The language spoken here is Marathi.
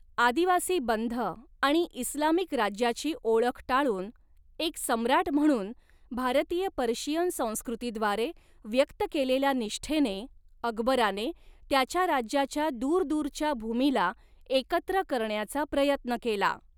आदिवासी बंध आणि इस्लामिक राज्याची ओळख टाळून, एक सम्राट म्हणून भारतीय पर्शियन संस्कृतीद्वारे व्यक्त केलेल्या निष्ठेने, अकबराने, त्याच्या राज्याच्या दूरदूरच्या भूमीला एकत्र करण्याचा प्रयत्न केला.